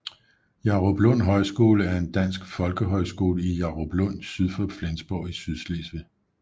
Jaruplund Højskole er en dansk folkehøjskole i Jaruplund syd for Flensborg i Sydslesvig